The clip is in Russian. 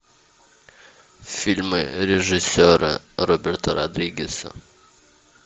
фильмы режиссера роберта родригеса